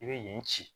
I bɛ yen ci